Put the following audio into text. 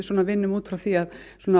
vinnum út frá því að